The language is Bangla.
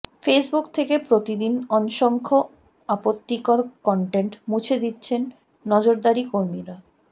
ফেসবুক থেকে প্রতিদিন অসংখ্য আপত্তিকর কনটেন্ট মুছে দিচ্ছেন নজরদারি কর্মীরা